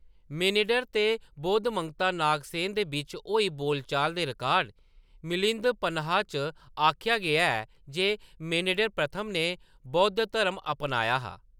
Menander ते बौद्ध मंगता नागसेन दे बिच्च होई बोलचाल दे रिकार्ड, मिलिंद पन्हा च आखेआ गेआ ऐ जे मेनेंडर प्रथम ने बौद्ध धरम अपनाया हा।